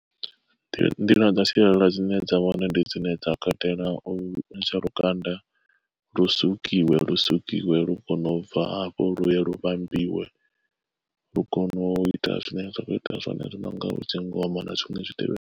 Nḓila dza sialala dzine dza vhone ndi dzine dza katela u ntsha lukanda lu sukiwe lu sukiwe lu kone ubva hafho luye lu vhambiwe lu kone u ita zwine zwa khou ita zwone zwi no nga dzi ngoma na zwiṅwe zwi tevhelela.